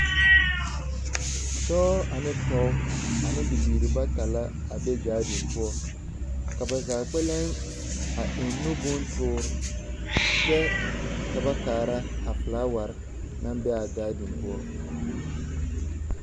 Dɔɔ ane pɔge ane bibiiri bata la a be gaadiŋ poɔ, ka ba zaa kpɛlɛŋ a eŋ nu bontoor kyɛ ka ba kaara a felaaware naŋ be a gaadiŋ poɔ.